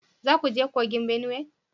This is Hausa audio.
Za ku je kogin Benue?